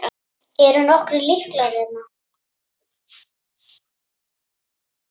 Eru nokkrir lyklar hérna?